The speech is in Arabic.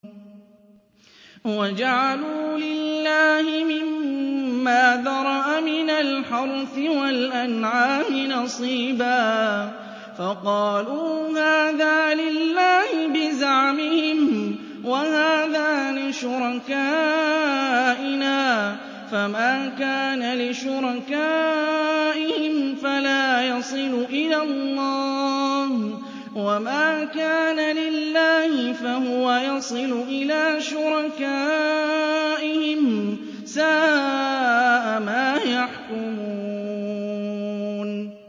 وَجَعَلُوا لِلَّهِ مِمَّا ذَرَأَ مِنَ الْحَرْثِ وَالْأَنْعَامِ نَصِيبًا فَقَالُوا هَٰذَا لِلَّهِ بِزَعْمِهِمْ وَهَٰذَا لِشُرَكَائِنَا ۖ فَمَا كَانَ لِشُرَكَائِهِمْ فَلَا يَصِلُ إِلَى اللَّهِ ۖ وَمَا كَانَ لِلَّهِ فَهُوَ يَصِلُ إِلَىٰ شُرَكَائِهِمْ ۗ سَاءَ مَا يَحْكُمُونَ